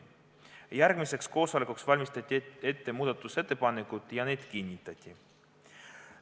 Järgmiseks koosolekuks valmistati ette muudatusettepanekud ja need kinnitati.